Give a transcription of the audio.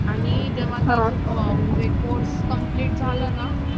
आणि जेंव्हा course complete झाला ना